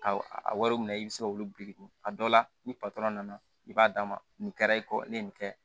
A a wariw minɛ i bɛ se k'olu biriki a dɔw la ni patɔrɔn nana i b'a d'a ma nin kɛra i kɔ ne ye nin kɛ